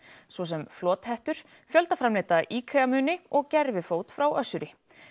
svo sem fjöldaframleidda IKEA muni og gervifót frá Össuri